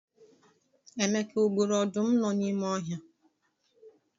Emeka o gburu ọdụm nọ n'ime ọhịa?